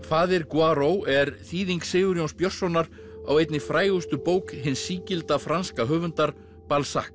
faðir er þýðing Sigurjóns Björnssonar á einni frægustu bók hins sígilda franska höfundar